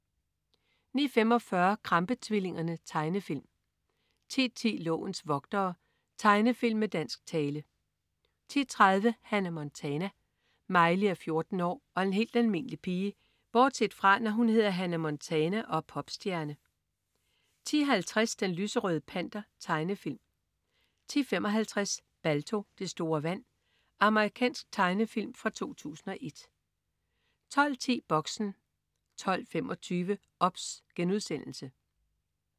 09.45 Krampe-tvillingerne. Tegnefilm 10.10 Lovens vogtere. Tegnefilm med dansk tale 10.30 Hannah Montana. Miley er 14 år og en helt almindelig pige bortset fra, når hun hedder Hannah Montana og er popstjerne 10.50 Den lyserøde Panter. Tegnefilm 10.55 Balto. Det store vand. Amerikansk tegnefilm fra 2001 12.10 Boxen 12.25 OBS*